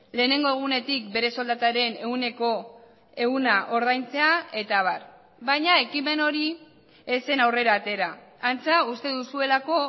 lehenengo egunetik bere soldataren ehuneko ehuna ordaintzea eta abar baina ekimen hori ez zen aurrera atera antza uste duzuelako